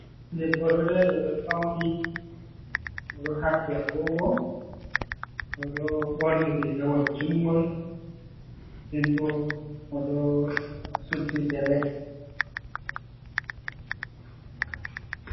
Debbo oɗo dari oɗo fauni, oɗo haɓɓi agogo, oɗo ɓorni rigawol jungol nden bo oɗo suddi gele.